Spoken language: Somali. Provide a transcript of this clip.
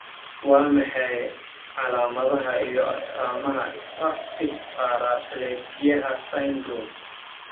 waa maxay calaamadaha iyo astaamaha spastic paraplegiyaha syndrome?